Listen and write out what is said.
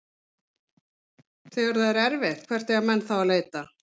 Þegar það er erfitt, hvert eiga menn þá að leita?